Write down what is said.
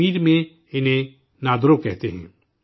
کشمیر میں انہیں نادرو کہتے ہیں